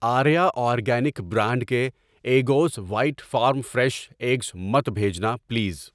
Arya organic brand کے Eggoz white farm fresh eggs مت بھیجنا پلیز۔